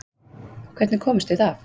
Hvernig komumst við af?